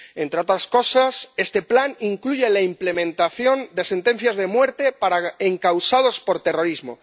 Entre otras cosas, este plan incluye la ejecución de sentencias de muerte para encausados por terrorismo.